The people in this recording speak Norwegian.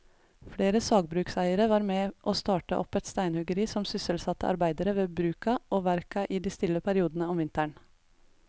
Flere sagbrukseiere var med å starte opp steinhuggeri som sysselsatte arbeidere ved bruka og verka i de stille periodene om vinteren.